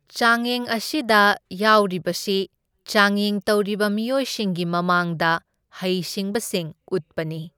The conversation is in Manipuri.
ꯆꯥꯡꯌꯦꯡ ꯑꯁꯤꯗ ꯌꯥꯎꯔꯤꯕꯁꯤ ꯆꯥꯡꯌꯦꯡ ꯇꯧꯔꯤꯕ ꯃꯤꯑꯣꯢꯁꯤꯡꯒꯤ ꯃꯃꯥꯡꯗ ꯍꯩꯁꯤꯡꯕꯁꯤꯡ ꯎꯠꯄꯅꯤ꯫